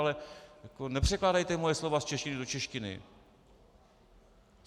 Ale nepřekládejte moje slova z češtiny do češtiny!